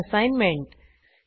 आता असाईनमेंट